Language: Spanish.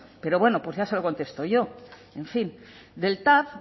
pero ya se lo contesto yo en fin del tav